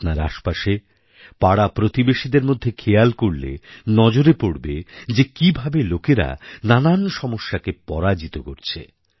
আপনার আশেপাশে পাড়াপ্রতিবেশীদের মধ্যে খেয়াল করলে নজরে পড়বে যে কীভাবে লোকেরানানা সমস্যাকে পরাজিত করছে